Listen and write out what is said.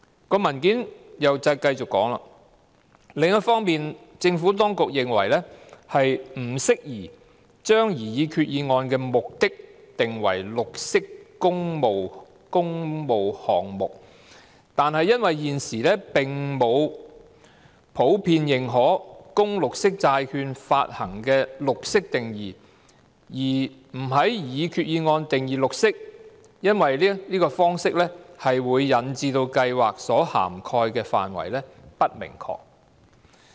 該份文件接着提到："另一方面，政府當局認為不適宜把擬議決議案的目的定為'綠色工務項目'，但因現時並沒有普遍認可、供綠色債券發行的'綠色'定義，而不在擬議決議案定義'綠色'，因為該方式將會引致計劃所涵蓋的範圍不明確"。